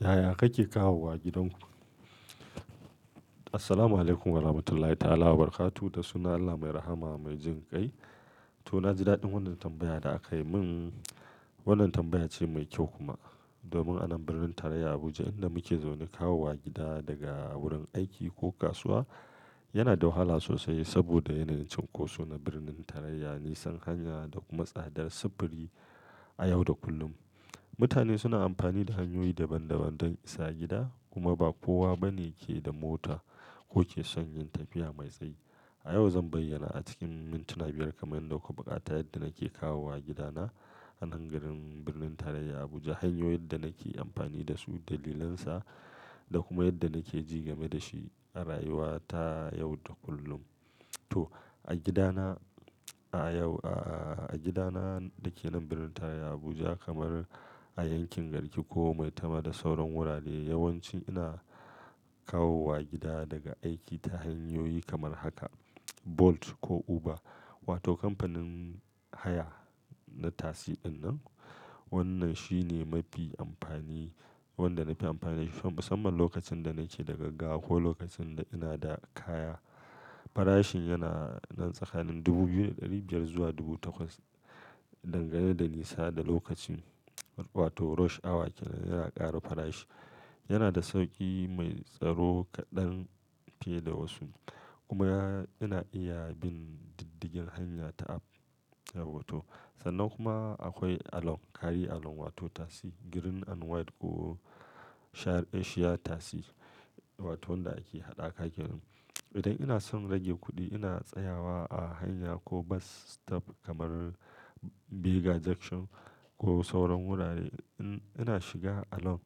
Yaya kake kawowa gidan ku? Assalamualaikum warahmatullahi ta'ala wa barakatu. Da sunan Allah mai rahama mai jin kai. To na ji daɗin wannan tambaya da aka yi min. Wannan tambaya ce mai kyau kuma. Domin a nan birnin tarayya Abuja inda muke zaune, kawowa gida daga wurin aiki ko kasuwa yana da wahala sosai saboda yanayin cunkoso na birnin tarayya, nisan hanya da kuma tsadar sufuri a yau da kullum. Mutane suna amfani da hanyoyi daban-daban don isa gida kuma ba kowa bane ke da mota ko ke shan yin tafiya mai tsayi. A yau zan bayyana a cikin mintuna biyar kamar yadda muka buƙata yadda nake kawowa gidana a nan garin birnin tarayya Abuja, hanyoyin da nake amfani da su, dalilansa da kuma yadda nake jigame da shi a rayuwa ta yau da kullum. To a gida na a yau a gida na da ke nan birnin tarayya Abuja kamar a yankin garki ko maitama da sauran wurare, yawanci ina kawowa gida daga aiki ta hanyoyi kamar haka Bolt ko Uber wato kamfanin haya na tasiɗin nan. Wannan shi ne mafi amfani wanda na fi amfani da shi musamman lokacin da nake da gaggawa ko lokacin da ina da kaya. Farashin yana nan tsakanin dubu biyu da ɗari biyar zuwa dubu takwas dangane da nisa da lokacin wato rush hour yake yana ƙara farashi. Yana da sauƙi mai tsaro kaɗan ke da wasu kuma ya ina iya bin diddigin hanya ta app. Yauwa to sannan kuma akwai Along, kare Along wato tasi kore ko fari ko shayar asia tasi wato wanda ake haɗa ka ke nan. Idan ina son rage kuɗi ina tsayawa a hanya ko bus stop kamar Bega junction ko sauran wurare. In ina shiga Along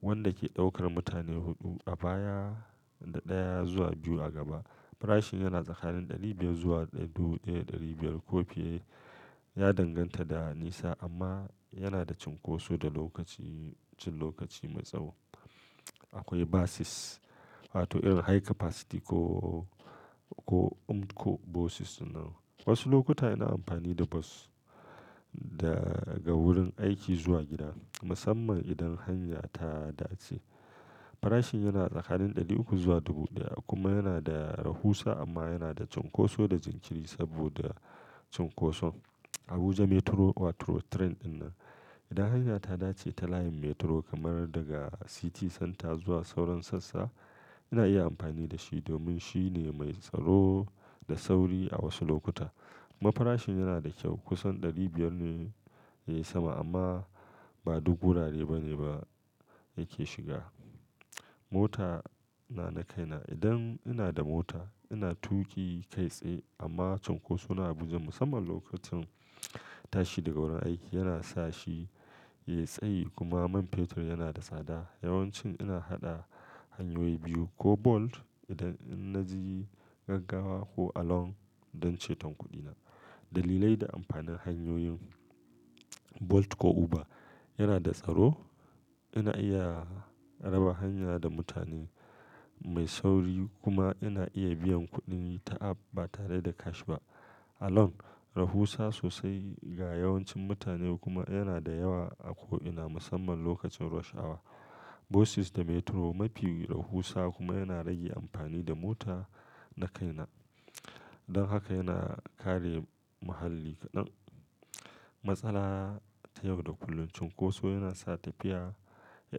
wanda ke ɗaukar mutane huɗu a baya da ɗaya zuwa biyu a gaba. Farashin yana tsakanin ɗari biyar zuwa dubu ɗaya da ɗari biyar ko fiye. Ya danganta da nisa amma yana da cunkoso da lokaci cin lokaci mai tsaho. Akwai bas wato irin high capacity ko ko umko bas nan. Wasu lokuta ina amfani da bas daga wurin aiki zuwa gida musamman idan hanya ta dace. Farashin yana tsakanin ɗari uku zuwa dubu ɗaya kuma yana da rahusa amma yana da cunkoso da jinkiri saboda cunkoson Abuja metro wato jirgin kasa dinnan. Idan hanya ta dace ta layin metro kamar daga tsakiyar gari zuwa sauran sassa ina iya amfani da shi domin shi ne mai tsaro da sauri a wasu lokuta. Kuma farashin yana da kyau kusan ɗari biyar ne ya sama amma ba duk wurare bane ba yake shiga. Mota na na kaina. Idan ina da mota ina tuƙi kai tsaye amma cunkoson Abuja musamman lokacin tashi daga wurin aiki yana sa shi ya yi tsayi kuma man fetur yana da tsada. Yawanci ina haɗa hanyoyi biyu ko Bolt idan na ji gaggawa ko Along don ceton kuɗina. Dalilai da amfanin hanyoyin Bolt ko Uber yana da tsaro. Ina iya raba hanya da mutane mai sauri kuma ina iya biyan kuɗi ta app ba tare da tsabar kudi ba. Along, rahusa sosai ga yawancin mutane kuma yana da yawa a ko ina musamman lokacin cunkoso. Bas da metro mafi rahusa kuma yana rage amfani da mota na kaina. Don haka yana kare muhalli kaɗan. Matsala ta yau da kullun cunkoso yana sa tafiya ya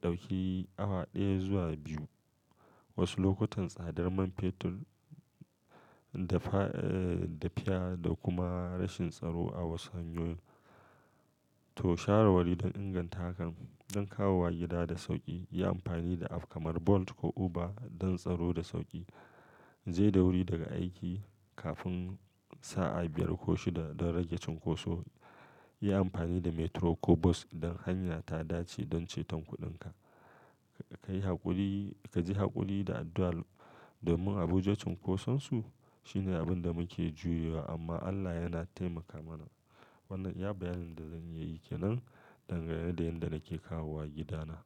ɗauki awa ɗaya zuwa biyu. Wasu lokutan tsadar man fetur da fa tafiya da kuma rashin tsaro a wasu hanyoyin. To shawarwari don inganta hakan don kawowa gida da sauƙi, yi amfani da app kamar Bolt ko Uber don tsaro da sauƙi. Je da wuri daga aiki kafin sa'a biyar ko shida don rage cunkoso. Yi amfani da metro ko bas idan hanya ta dace don ceton kuɗinka. Ka yi haƙuri ka ji haƙuri da addu'a domin Abuja cunkosonsu shine abin da muke juyowa amma Allah yana taimaka mana. Wannan ya bayanin da zan iya yi ke nan dangane da yadda nake kawowa gidana.